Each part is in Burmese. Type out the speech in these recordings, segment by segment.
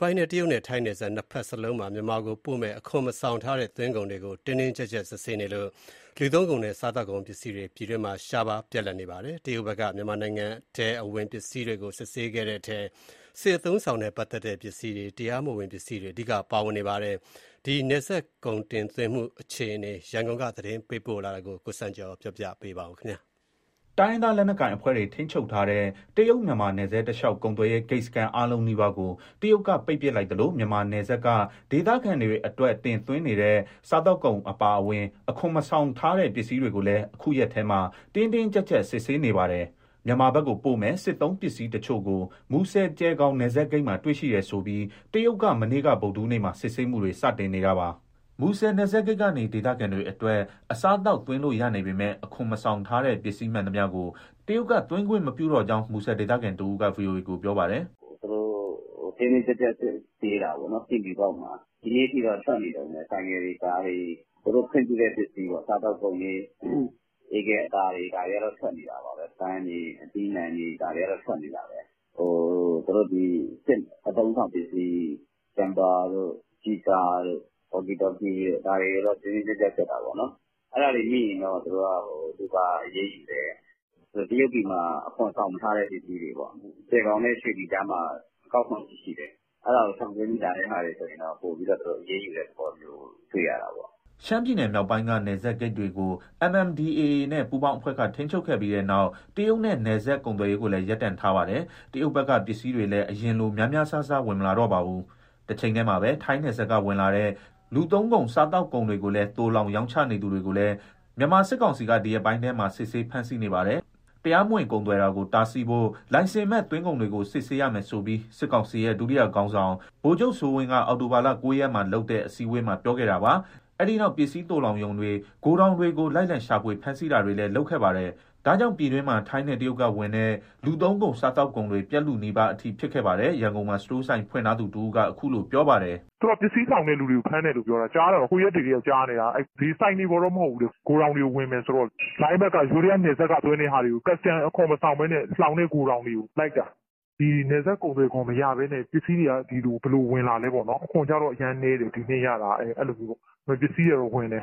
ပိုင်းထဲ တရုတ်နဲ့ ထိုင်းနယ်စပ် နှစ်ဘက်စလုံးမှာ မြန်မာနိုင်ငံကိုပို့မယ့် အခွန်မဆောင်ထားတဲ့ သွင်းကုန်တွေကို တင်းတင်းကြပ်ကြပ် စစ်ဆေးနေလို့ လူသုံးကုန်နဲ့ စားသောက်ကုန်ပစ္စည်းတွေ ပြည်တွင်းမှာ ရှားပါး၊ ပြတ်လပ်နေပါတယ်။ တရုတ်ဘက်က မြန်မာနိုင်ငံထဲအဝင်ပစ္စည်းတွေကို စစ်ဆေးတဲ့အထဲ စစ်အသုံးအဆောင် နဲ့ ပတ်သက်တဲ့ ပစ္စည်းတွေ၊ တရားမဝင်ပစ္စည်းတွေ အဓိကပါဝင်နေပါတယ်။ တရုတ်နဲ့ ထိုင်းနယ်စပ် ကုန်စည်တင်သွင်းမှု နောက်ဆုံးအခြေအနေ ရန်ကုန်က သတင်းပေးပို့ထားပါတယ်။ တိုင်းရင်းသားလက်နက်ကိုင်အဖွဲ့တွေ ထိန်းချုပ်ထားတဲ့ တရုတ် မြန်မာနယ်စပ်တလျှောက် ကုန်သွယ်ရေး ဂိတ်စခန်းအားလုံးနီးပါးကို တရုတ်က ပိတ်ပစ်လိုက်သလို မြန်မာနယ်စပ်က ဒေသခံတွေအတွက် တင်သွင်းနေတဲ့ စားသောက်ကုန် အပါအဝင်၊ အခွန်မဆောင်ထားတဲ့ ပစ္စည်းတွေကိုလည်း အခုရက်ထဲမှာ တင်းတင်းကျပ်ကျပ် စစ်ဆေးနေပါတယ်။ မြန်မာဘက်ကိုပို့မယ့် စစ်သုံးပစ္စည်းတချို့ကို မူဆယ်-ကျယ်ခေါင် နယ်စပ်ဂိတ်မှာ တွေ့ရှိတယ်ဆိုပြီး တရုတ်က မနေ့က ဗုဒ္ဓဟူးနေ့မှာ စစ်ဆေးမှုတွေ စတင်နေတာပါ။ မူဆယ်နယ်စပ်ဂိတ်ကနေ ဒေသခံတွေအတွက် အစားအသောက်သွင်းလို့ရနေပေမဲ့ အခွန်မဆောင်ထားတဲ့ ပစ္စည်းမှန်သမျှကို တရုတ်က သွင်းခွင့်မပြုတော့ကြောင်း မူဆယ်ဒေသခံတဦးက ဗွီအိုအေကို ပြောပါတယ်။ " သူတို့ တင်းတင်းကျပ်ကျပ် စစ်ဆေးတာပေါ့နော် ဆင်ဖြူပေါက်မှာ။ ဒီနေ့အထိတော့ ထွက်နေတုန်းပဲ ဆိုင်ကယ်တွေ၊ ကားတွေ။ သူတို့ခွင့်ပြုတဲ့ ပစ္စည်းပေါ့ စားသောက်ကုန်တွေ၊ အေးခဲအသားတွေ ဒါတွေကတော့ ထွက်နေတာပါပဲ။ ပန်းတွေ၊ အသီးအနှံတွေ ဒါတွေက ထွက်နေတာပဲ။ စစ်အသုံးအဆောင်ပစ္စည်း ဂျမ့်ပါတို့၊ ကျည်ကာတို့၊ ဝေါ်ကီတော်ကီတို့ ဒါတွေတော့ တင်းတင်းကျပ်ကျပ် စစ်တာပေါ့နော်။ အဲဒါတွေမိရင်တော့ လူပါအရေးယူတယ်။ တရုတ်ပြည်မှာ အခွန်မဆောင်ထားတဲ့ ပစ္စည်းတွေပေါ့။ ကျယ်ဂေါင်နဲ့ ရွှေလီကြားမှာ အကောက်ခွန်ရှိတယ် အဲဒါကို ရှောင်ကွင်းပြီး လာတဲ့ဟာတွေဆို သူတို့ပိုပြီး အရေးယူတဲ့သဘောမျိုး တွေ့ရတာပေါ့။" ရှမ်းပြည်နယ်မြောက်ပိုင်းက နယ်စပ်ဂိတ်တွေကို MNDAAနဲ့ ပူးပေါင်းအဖွဲ့က ထိန်းချုပ်ခဲ့ပြီးတဲ့နောက် တရုတ်နဲ့ နယ်စပ်ကုန်သွယ်ရေးကိုလည်း ရပ်တန့်ထားပါတယ်။ တရုတ်ဘက်က ပစ္စည်းတွေလည်း အရင်လို များများစားစား ဝင်မလာတော့ပါဘူး။ တချိန်တည်းမှာပဲ ထိုင်းနယ်စပ်က ဝင်လာတဲ့ လူသုံးကုန်၊ စားသောက်ကုန်တွေကိုလည်း သိုလှောင်၊ ရောင်းချနေသူတွေကိုလည်း မြန်မာစစ်ကောင်စီက ဒီရက်ပိုင်းထဲမှာ စစ်ဆေး ဖမ်းဆီးနေပါတယ်။ တရားမဝင် ကုန်သွယ်တာကို တားဆီးဖို့ လိုင်စင်မဲ့ သွင်းကုန်တွေကို စစ်ဆေးရမယ်ဆိုပြီး စစ်ကောင်စီရဲ့ ဒုတိယခေါင်းဆောင် ဗိုလ်ချုပ်စိုးဝင်းက အောက်တိုဘာလ ၉ရက်မှာလုပ်တဲ့ အစည်းအဝေးတခုမှာ ပြောခဲ့တာပါ။ အဲဒီနောက် ပစ္စည်းသိုလှောင်ရုံတွေ၊ ဂိုထောင်တွေကို လိုက်လံ ရှာဖွေ ဖမ်းဆီးတာတွေလည်း လုပ်ခဲ့ပါတယ်။ ဒါကြောင့် ပြည်တွင်းမှာ ထိုင်းနဲ့ တရုတ်ကဝင်တဲ့ လူသုံးကုန်၊ စားသောက်ကုန်တွေ ပြတ်လုနီးပါးအထိ ဖြစ်ခဲ့ပါတယ်။ ရန်ကုန်မှာ စတိုးဆိုင်ဖွင့်ထားသူတဦးက အခုလိုပြောပါတယ်။ "သူတို့က ပစ္စည်းလှောင်တဲ့သူတွေကို ဖမ်းတယ်လို့ပြောတာ၊ ကြားတာတော့ ဟိုရက်တွေကတည်းက ကြားနေတာ။ ဆိုင်တွေပေါ်တော့ မဟုတ်ဘူးတဲ့ ဂိုထောင်တွေကို ဝင်မယ်ဆိုတော့ လိုင်းဘက်က၊ ယိုးဒယားနယ်စပ်က သွင်းတဲ့ဟာတွေကို ကာစတန်အခွန်မဆောင်ဘဲ လှောင်တဲ့ဂိုထောင်တွေကို လိုက်တာ။ နယ်စပ်ကုန်သွယ်ခွန် မရဘဲနဲ့ ပစ္စည်းတွေက ဒီကို ဘယ်လိုဝင်လာလဲပေါ့နော်၊ အခွန်ကရတာက ဒီနှစ် အရမ်းနည်းတယ် အဲလို။ ဒါပေမဲ့ ပစ္စည်းတွေက ဝင်တယ်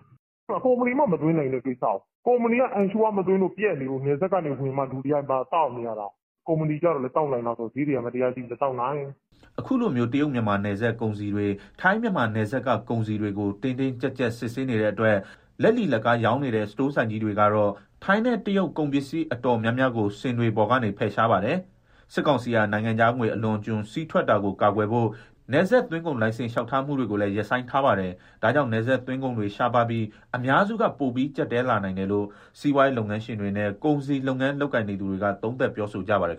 ၊ ကုမ္ပဏီမှ မသွင်းနိုင်တဲ့ကိစ္စကို၊ ကုမ္ပဏီက Ensure မသွင်းလို့၊ ပြတ်နေလို့ နယ်စပ်ကနေဝင်မှ လူတွေက သောက်နေရတာ။ ကုမ္ပဏီက သောက်နိုင်လားဆိုတော့ ဈေးတွေကကြီး မသောက်နိုင်။" အခုလိုမျိုး တရုတ်- မြန်မာနယ်စပ် ကုန်စည်တွေ ထိုင်း-မြန်မာနယ်စပ်က ကုန်စည်တွေကို တင်းတင်းကြပ်ကြပ် စစ်ဆေးနေတဲ့အတွက် လက်လီ၊ လက်ကားရောင်းနေတဲ့ စတိုးဆိုင်ကြီးတွေကတော့ ထိုင်းနဲ့ တရုတ်ကုန်ပစ္စည်း အတော်များများကို စင်တွေပေါ်ကနေ ဖယ်ရှားပါတယ်။ စစ်ကောင်စီဟာ နိုင်ငံခြားငွေ အလွန်အကျွံစီးထွက်တာကို ကာကွယ်ဖို့ နယ်စပ်သွင်းကုန်လိုင်စင်လျှောက်ထားမှုတွေကိုလည်း ရပ်ဆိုင်းထားပါတယ်။ ဒါကြောင့် နယ်စပ်သွင်းကုန်တွေ ရှားပါးပြီး အများစုက ပိုပြီး ကျပ်တည်းလာနိုင်တယ်လို့ စီးပွားရေးလုပ်ငန်းရှင်တွေနဲ့ ကုန်စည်လုပ်ငန်းလုပ်ကိုင်နေသူတွေက သုံးသပ် ပြောဆိုနေကြပါတယ်